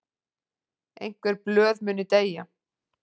Einhver blöð muni deyja